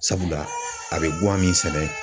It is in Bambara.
Sabula, a bɛ guwan min sɛnɛ